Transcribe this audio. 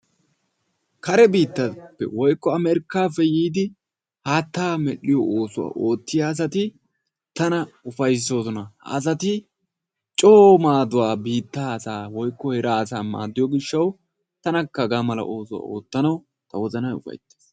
Kare biittaa woykko amerkaappe yiidi haattaa medhiyo oosuwa oottiya asati tana ufaysoosona. ha asati coo maaduwa biittaa asaa woykko heeraa asa maadiyo gishawu tanakka hagaa mala oosuwa ootanawu ta wozanay ufaytees.